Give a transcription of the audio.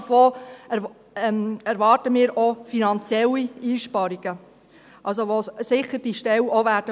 Dadurch erwarten wir auch finanzielle Einsparungen, die diese Stelle sicher auch aufwiegen werden.